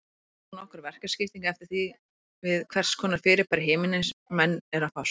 Einnig er nokkur verkaskipting eftir því við hvers konar fyrirbæri himinsins menn eru að fást.